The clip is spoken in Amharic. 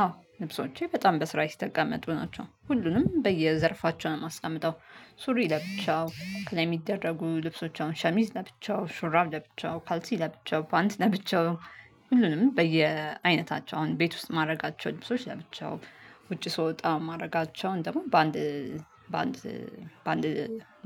አዎ ልብሶቼ በጣም በስርዓት የተቀመጡ ናቸው ሁሉንም በየዘርፋቸው ነው የማስቀምጠው። ሱሪ ለብቻው ከላይ ሚደረጉ ልብሶች አሁን ሸሚዝ ለብቻው ሹራብ ለብቻው ካልሲ ለብቻው ፓንት ለብቻው። ሁሉንም በየአይነታቸው አሁን ቤት ውስጥ የማድረጋቸው ልብሶች ለብቻው። ውጪ ስወጣ የማደርጋቸውን ደግሞ በአንድ በአንድ በአንድ